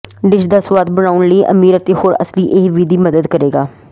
dish ਦਾ ਸੁਆਦ ਬਣਾਉਣ ਲਈ ਅਮੀਰ ਅਤੇ ਹੋਰ ਅਸਲੀ ਇਹ ਵਿਧੀ ਮਦਦ ਕਰੇਗਾ